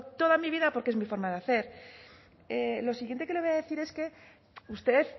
toda mi vida porque es mi forma de hacer lo siguiente que le voy a decir es que usted